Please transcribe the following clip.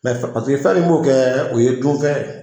Mɛ paseke fɛn b'o kɛ o ye dun fɛn.